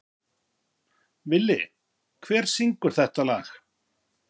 Villi, hver syngur þetta lag?